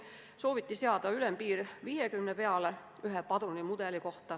Ülempiiri sooviti tõsta kõrgemale kui senine 50 padrunit ühe mudeli kohta.